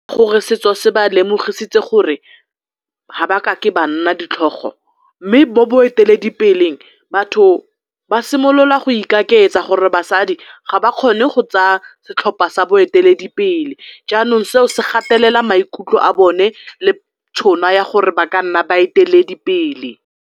Gore setso se ba lemositse gore ga ba kake ba nna ditlhogo mme bo boeteledipeleng batho ba simolola go ikaketsa gore basadi ga ba kgone go tsaya setlhopha sa boeteledipele jaanong seo se gatelela maikutlo a bone le tšhono ya gore ba ka nna baeteledipele.